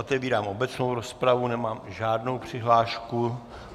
Otevírám obecnou rozpravu, nemám žádnou přihlášku.